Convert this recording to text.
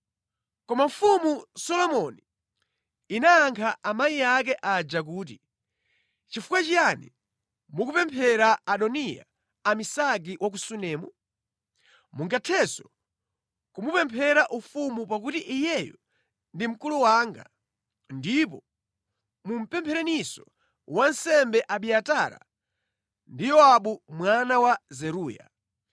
Koma Mfumu Solomoni inayankha amayi ake aja kuti, “Chifukwa chiyani mukupemphera Adoniya Abisagi wa ku Sunemu? Mungathenso kumupemphera ufumu pakuti iyeyu ndi mkulu wanga ndipo mupemphereninso wansembe Abiatara ndi Yowabu mwana wa Zeruya!”